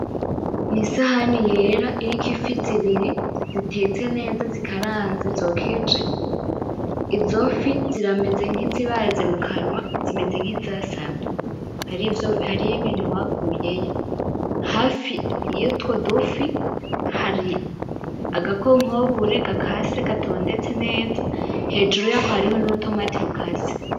Ni isahani yera iriko ifi zibiri zitetse neza zikaranze zokeje , izo fi zirameze nkizibaze mukanwa zimeze nkizasamye, hariyo ibintu bakuyeyo , hafi y'utwo dufi hari aga "concombre" gakase gatondetse neza , hejuru yako hariho nuru "tomate" rukase.